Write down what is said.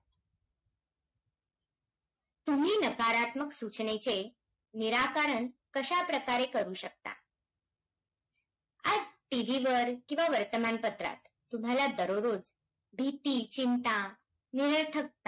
महर्मामहामार्गाची पाहणी केल्यानंतर मुख्यमंत्र्याने या महामार्गाचे शहर देवेंद्र फडणवीस यांना दिले ते योग्य आहे फडणवीस मुख्यमंत्री असताना या महामार्ग सिद्धी आज~